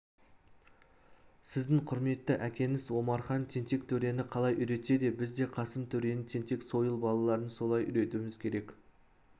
сіздің құрметті әкеңіз омархан тентек төрені қалай үйретсе біз де қасым төренің тентек сойыл балаларын солай үйретуіміз керек